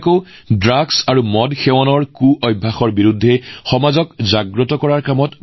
কোনোবাই ড্ৰাগছ আৰু সুৰাৰ আসক্তি প্ৰতিৰোধৰ বাবে সমাজত সজাগতা প্ৰসাৰ কৰিছে